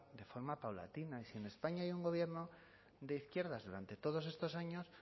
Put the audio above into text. de forma paulatina y si en españa hay un gobierno de izquierdas durante todos estos años